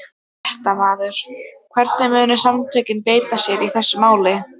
Fréttamaður: Hvernig munu samtökin beita sér í þessu máli?